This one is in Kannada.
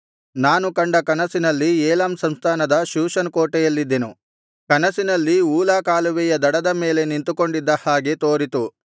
ನಾನು ಕಂಡ ಕನಸಿನಲ್ಲಿ ಏಲಾಮ್ ಸಂಸ್ಥಾನದ ಶೂಷನ್ ಕೋಟೆಯಲ್ಲಿದ್ದೆನು ಕನಸಿನಲ್ಲಿ ಊಲಾ ಕಾಲುವೆಯ ದಡದ ಮೇಲೆ ನಿಂತುಕೊಂಡಿದ್ದ ಹಾಗೆ ತೋರಿತು